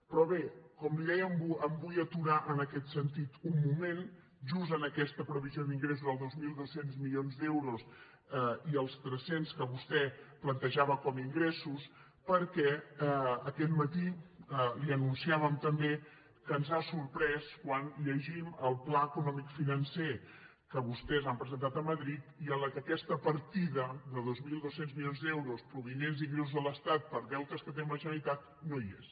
però bé com li deia em vull aturar en aquest sentit un moment just en aquesta previsió d’ingressos els dos mil dos cents milions d’euros i els tres cents que vostè plantejava com a ingressos perquè aquest matí li anunciàvem també que ens ha sorprès quan hem llegit el pla econòmic financer que vostès han plantejat a madrid en el qual aquesta partida de dos mil dos cents milions d’euros provinents d’ingressos de l’estat per deutes que té amb la generalitat no hi és